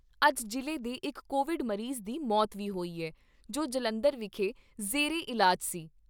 ਅੱਜ ਜ਼ਿਲ੍ਹੇ ਦੇ ਇਕ ਕੋਵਿਡ ਮਰੀਜ਼ ਦੀ ਮੌਤ ਵੀ ਹੋਈ ਏ, ਜੋ ਜਲੰਧਰ ਵਿਖੇ ਜ਼ੇਰੇ ਇਲਾਜ ਸੀ।